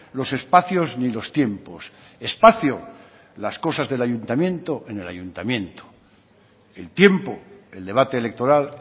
los espacios ni los tiempos espacio las cosas del ayuntamiento en el ayuntamiento el tiempo el debate electoral